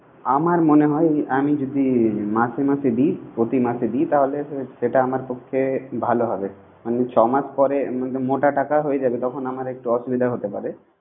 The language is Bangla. আমার মনে আমি যদি মাসে মাসে দি, প্রতি মাসে দি তাহলে সেটা আমার পক্ষে ভালো হবে। ছয় মাস পরে মোটা টাকা হয়ে যাবে। তখন আমার একটু অসুবিধা হতে পারে।